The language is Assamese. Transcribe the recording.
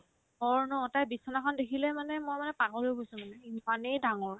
ঘৰ ন তাইৰ বিচনাখন দেখিলে মানে মই মানে পাগল হৈ গৈছো মানে ইমানে ডাঙৰ